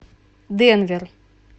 денвер